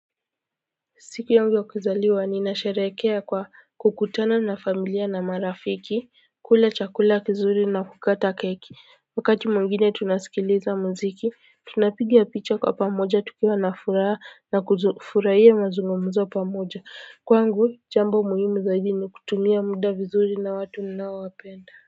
Siku yangu ya kuzaliwa ninasherehekea kwa kukutana na familia na marafiki kula chakula kizuri na kukata keki wakati mwingine tunasikiliza muziki tunapiga picha kwa pamoja tukiwa na furaha na kufurahia mazungumzo pamoja kwangu jambo muhimu zaidi ni kutumia muda vizuri na watu ninaowapenda.